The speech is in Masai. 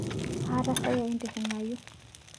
Aatasayia intiring'au.